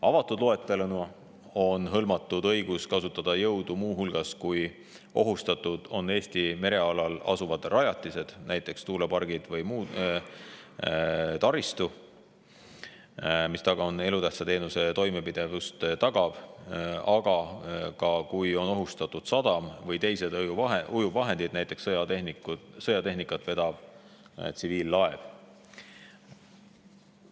Avatud loeteluna on hõlmatud õigus kasutada jõudu muu hulgas siis, kui ohustatud on Eesti merealal asuvad rajatised, näiteks tuulepargid või muu taristu, mis tagavad elutähtsa teenuse toimepidevuse, aga ka siis, kui on ohustatud sadam või teised ujuvvahendid, näiteks sõjatehnikat vedav tsiviillaev.